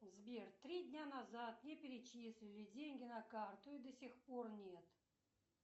сбер три дня назад мне перечислили деньги на карту и до сих пор нет